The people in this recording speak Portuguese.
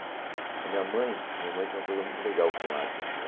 A minha mãe a minha mãe tinha uma coisa muito legal com arte assim.